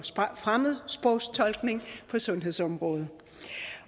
fremmedsprogstolkning på sundhedsområdet